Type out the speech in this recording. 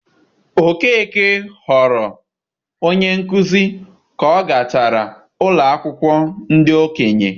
Okeke ghọrọ onye nkuzi ka ọ gachara ụlọ akwụkwọ ndị okenye.